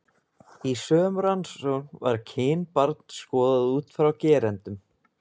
Í sömu rannsókn var kyn barns skoðað út frá gerendum.